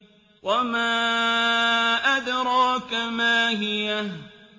وَمَا أَدْرَاكَ مَا هِيَهْ